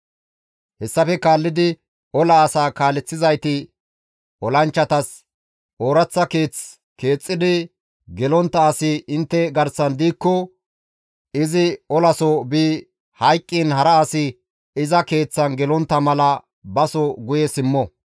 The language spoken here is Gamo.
Hessafe kaallidi ola asaa kaaleththizayti olanchchatas, «Ooraththa keeth keexxidi gelontta asi intte garsan diikko izi olaso bi hayqqiin hara asi iza keeththan gelontta mala baso guye simmo.